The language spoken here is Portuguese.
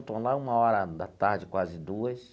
Estou lá uma hora da tarde, quase duas.